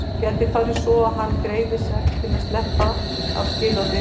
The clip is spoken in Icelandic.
Nú gæti farið svo að hann greiði sekt til að sleppa af skilorði.